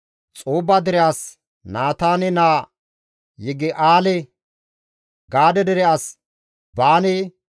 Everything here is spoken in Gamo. Xoobba dere as Naataane naa Yigi7aale, Gaade dere as Baane,